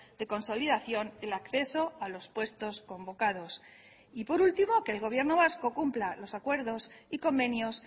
de consolidación el acceso a los puestos convocados y por último que el gobierno vasco cumpla los acuerdos y convenios